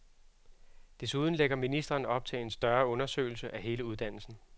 Desuden lægger ministeren op til en større undersøgelse af hele uddannelsen.